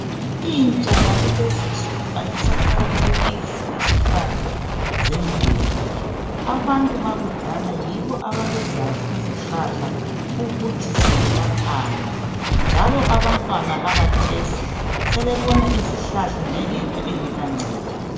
Intsha yakulezi nsuku ayisaqakathekisi izihlahla zemvelo abantu bakudala yibo ababezazi izihlahla ukuthi ziyelaphani njalo abantwana bakathesi sebebona izihlahla njengento engela ncedo.